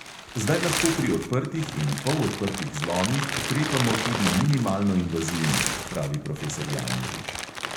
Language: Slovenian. Zdaj lahko pri odprtih in polodprtih zlomih ukrepamo tudi minimalno invazivno, pravi profesor janežič.